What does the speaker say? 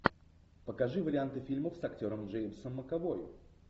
покажи варианты фильмов с актером джеймсом макэвой